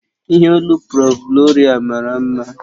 Ìhè olu prọ̀f Gloria mara mma